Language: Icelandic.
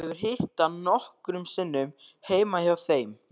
Hún hefur hitt hann nokkrum sinnum heima hjá þeim.